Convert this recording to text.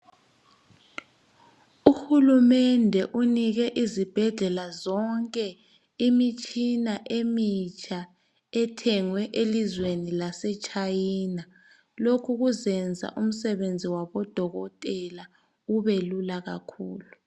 Uhulumende unike izibhedlela zonke, imitshina emitsha emitsha, ethengwe elizweni laseChina. Lokhu kuzakwenza umsebenzi wabodokotela, ubelula kakhulu.